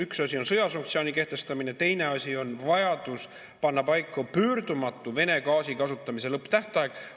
Üks asi on sõjasanktsiooni kehtestamine, teine asi on vajadus panna paika pöördumatu Vene gaasi kasutamise lõpptähtaeg.